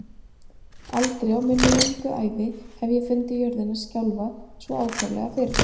Aldrei á minni löngu ævi hef ég fundið jörðina skjálfa svo ákaflega fyrr